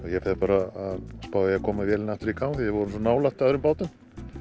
ég fer bara að spá í að koma vélinni aftur í gang því við vorum svo nálægt öðrum bátum